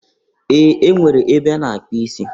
Ee! E nwere ebe a na-akpụ isi.